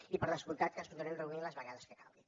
i per descomptat que ens podem reunir les vegades que calgui